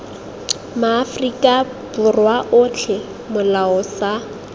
maaforika borwa otlhe molao sa